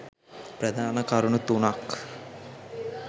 ප්‍රධාන කරුණු තුනක්